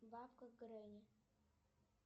бабка гренни